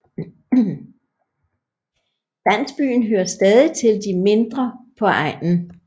Landsbyen hører stadig til de mindre på egnen